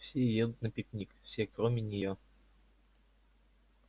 все едут на пикник все кроме неё